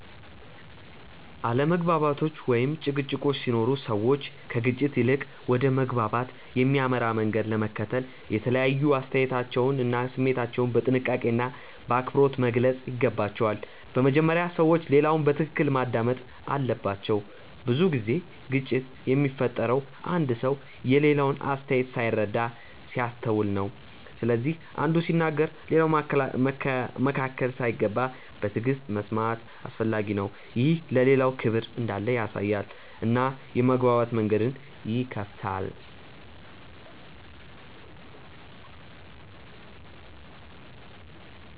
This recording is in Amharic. አለመግባባቶች ወይም ጭቅጭቆች ሲኖሩ ሰዎች ከግጭት ይልቅ ወደ መግባባት የሚያመራ መንገድ ለመከተል የተለያዩ አስተያየቶቻቸውን እና ስሜታቸውን በጥንቃቄና በአክብሮት መግለጽ ይገባቸዋል። በመጀመሪያ ሰዎች ሌላውን በትክክል ማዳመጥ አለባቸው። ብዙ ጊዜ ግጭት የሚፈጠረው አንዱ ሰው የሌላውን አስተያየት ሳይረዳ ሲያስተውል ነው። ስለዚህ አንዱ ሲናገር ሌላው መካከል ሳይገባ በትዕግሥት መስማት አስፈላጊ ነው። ይህ ለሌላው ክብር እንዳለ ያሳያል እና የመግባባት መንገድን ይከፍታል.